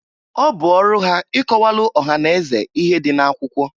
Ọ bụ ọrụ ha ịkọwalụ ọha na eze ihe dị akwụkwọ.